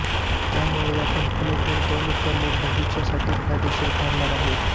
त्यामुळे या कंपनीत गुंतवणूक करणे भविष्यासाठी फायदेशीर ठरणार आहे